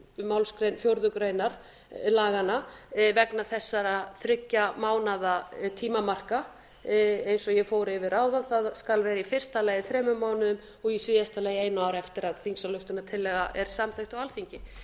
málsgrein fjórðu grein laganna vegna þess þriggja mánaða tímamarka eins og ég fór yfir áðan það skal það vera í fyrsta lagi þremur mánuðum og í síðasta lagi einu ári eftir að þingsályktunartillaga er samþykkt á alþingi